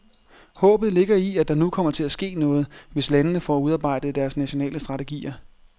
Håbet ligger i, at der nu kommer til at ske noget, hvis landene får udarbejdet deres nationale strategier.